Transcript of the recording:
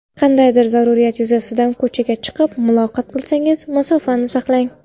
Qandaydir zarurat yuzasidan ko‘chaga chiqib, muloqot qilsangiz, masofani saqlang.